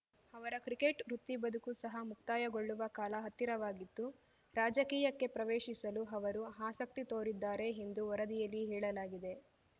ಅವರ ಕ್ರಿಕೆಟ್‌ ವೃತ್ತಿಬದುಕು ಸಹ ಮುಕ್ತಾಯಗೊಳ್ಳುವ ಕಾಲ ಹತ್ತಿರವಾಗಿತ್ತು ರಾಜಕೀಯಕ್ಕೆ ಪ್ರವೇಶಿಸಲು ಅವರು ಆಸಕ್ತಿ ತೋರಿದ್ದಾರೆ ಎಂದು ವರದಿಯಲ್ಲಿ ಹೇಳಲಾಗಿದೆ